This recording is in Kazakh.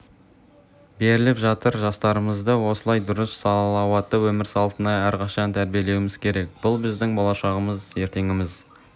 беріліп жатыр жастарымызды осылай дұрыс салауатты өмір салтына әрқашан тәрбиелеуіміз керек бұл біздің болашағымыз ертеңіміз